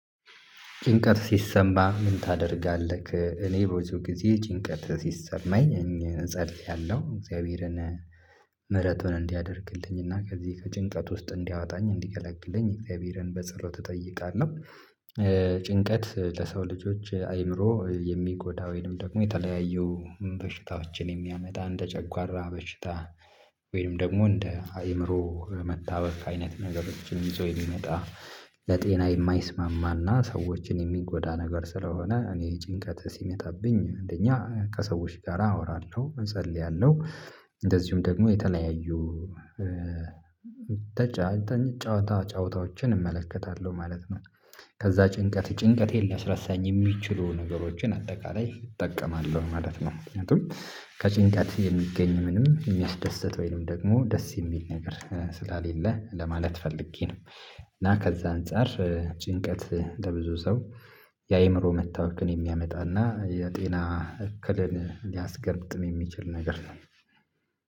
ጭንቀት ሲሰማህ ምን ታደርጋለህ? እኔ ብዙ ጊዜ ጭንቀት ሲሰማኝ እጸልያለሁ እግዚአብሔርን ምህረቱን እንዲያደርግልኝ እና ከዚህ ከጭንቀት ውስጥ እንዲያወጣኝ እንዲገላግለኝ እግዚአብሔርን በጸሎት እጠይቃለሁ ጭንቀት ለሰው ልጆች አእምሮ የሚጎዳ ወይንም ደግሞ የተለያዩ በሽታዎችን የሚያመጣ እንደ ጨጓራ በሽታ ወይም ደግሞ እንደ አእምሮ መታወክ አይነት ነገሮችን ይዞ የሚመጣ ለጤና የማይስማማና ሰዎችን የሚጎዳ ነገር ስለሆነ እኔ ጭንቀት ሲመጣብኝ አንደኛ ከሰዎች ጋር አወራለሁ እጸልያለሁ እንደዚሁም ደግሞ የተለያዩ ጨዋታዎችን እመለከታለሁ ማለት ነው ከዛ ጭንቀት ጭንቀቴን ሊያስረሳኝ የሚችሉ ነገሮችን አጠቃላይ እጠቀማለሁ ማለት ነው ምክንያቱም ከጭንቀት የሚገኝ ምንም የሚያስደስት ወይም ደግሞ ደስ የሚል ነገር ስለሌለ ለማለት ፈልጌ ነው እና ከዛ አንፃር ጭንቀት ለብዙ ሰው የአእምሮ መታወክን የሚያመጣና የጤና እክልን ሊያስከትል የሚችል ነገር ነው